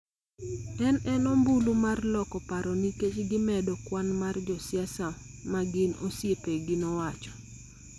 en en ombulu mar loko paro nikech gimedo kwan mar josiasa ma gin osiepegi, nowacho.